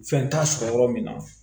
Fɛn t'a sɔrɔ yɔrɔ min na